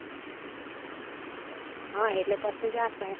હ એટલે પછી જ રાખ તાણ